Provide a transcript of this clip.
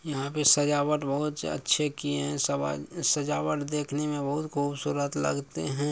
यहा पर सजावट बहुत अच्छे किए है सवा-सजावट देखने में बहुत खूबसूरत लगते है।